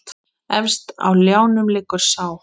Efst á ljánum liggur sá.